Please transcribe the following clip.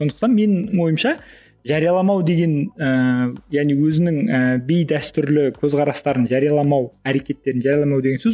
сондықтан менің ойымша жарияламау деген ііі яғни өзінің ііі бейдәстүрлі көзқарастарын жарияламау әрекеттерін жарияламау деген сөз